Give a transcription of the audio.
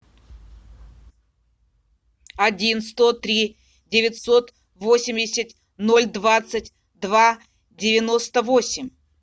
один сто три девятьсот восемьдесят ноль двадцать два девяносто восемь